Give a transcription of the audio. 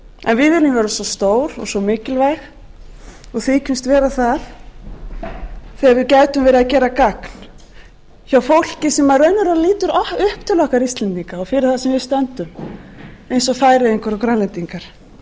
en við viljum vera svo stór og svo mikilvæg og þykjumst vera það þegar við gætum verið að gera gagn hjá fólki sem raunverulega lítur upp til okkar íslendinga og fyrir það sem við stöndum eins og færeyingar og grænlendingar ég